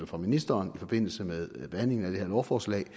fra ministeren i forbindelse med behandlingen af det her lovforslag